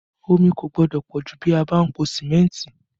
Omi kò gbọ́dọ̀ pọ jù bí a bá ń po símẹ́ntì